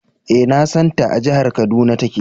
E, na san ta. A jahar Kaduna take.